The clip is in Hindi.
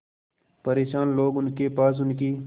परेशान लोग उनके पास उनकी